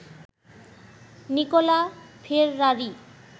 Nikola Ferrari